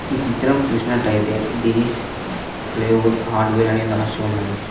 ఈ చిత్రం చూసినట్లయితే దినేష్ ప్లేవుడ్ హార్డవర్ అని రాసి ఉన్నది.